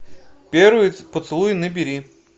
первый поцелуй набери